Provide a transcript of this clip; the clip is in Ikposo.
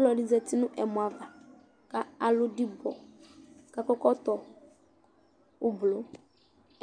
Ɔlɔdi za uti nu ɛmɔ ava ku alu dibɔ ku akɔ ɛkɔtɔ ublɔ